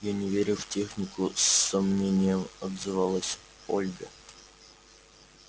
я не верю в технику с сомнением отзывалась ольга